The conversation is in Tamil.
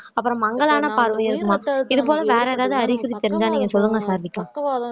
அப்புறம் மங்கலான பார்வை அதுவும இது போல வேற ஏதாவது அறிகுறி தெரிஞ்சா நீங்க சொல்லுங்க சாருவிக்கா